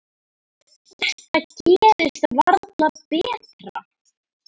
Þetta gerist varla betra.